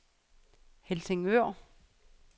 Helsingør